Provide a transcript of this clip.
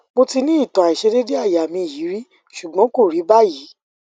mo ti ni itan aisedede aya mi yi ri sugbon ko ri bayi